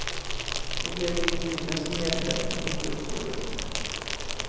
Då blev det idyllen som gällde, inte upproret.